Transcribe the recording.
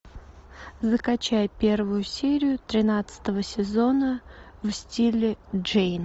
закачай первую серию тринадцатого сезона в стиле джейн